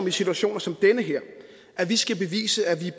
i situationer som den her at vi skal bevise at vi